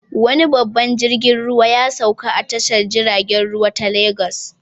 Wani babban jirgin ruwa ya sauka a tashar jiragen ruwa ta Legas.